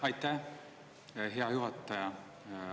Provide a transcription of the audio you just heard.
Aitäh, hea juhataja!